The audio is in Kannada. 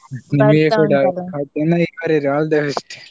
ನಿಮಗೆ ಕೂಡ ಚೆನ್ನಾಗಿ ಬರಿರಿ all the best .